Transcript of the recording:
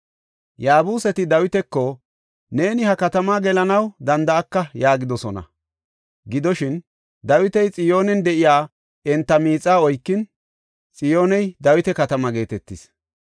Yaabuseti Dawitako, “Neeni ha katamaa gelanaw danda7aka” yaagidosona. Gidoshin, Dawiti Xiyoonen de7iya enta miixaa oykin, Xiyooney Dawita Katama geetetis.